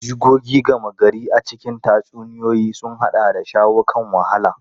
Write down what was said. Jigogi gama gari a cikin tatsuniyoyi sun haɗa da shawo kan wahala.